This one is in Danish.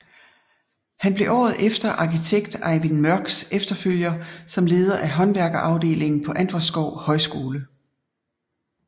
Han blev året efter arkitekt Ejvind Mørchs efterfølger som leder af håndværkerafdelingen på Antvorskov Højskole